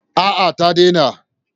A'a ta daina.